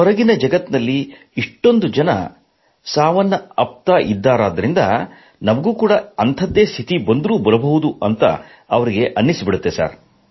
ಹೊರಗಿನ ಜಗತ್ತಿನಲ್ಲಿ ಇμÉ್ಟೂಂದು ಜನ ಸಾವನ್ನಪ್ಪುತ್ತಿದ್ದಾರಾದ್ದರಿಂದ ನಮಗೂ ಅಂಥದ್ದೇ ಸ್ಥಿತಿ ಬರಬಹುದು ಎಂದು ಅವರಿಗೆ ಅನ್ನಿಸುತ್ತದೆ